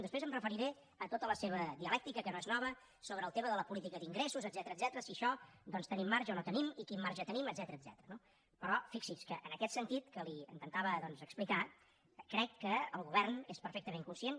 després em referiré a tota la seva dialèctica que no és nova sobre el tema de la política d’ingressos etcètera si en això doncs tenim marge o no en tenim i quin marge tenim etcètera no però fixi’s que en aquest sentit que li intentava doncs explicar crec que el govern és perfectament conscient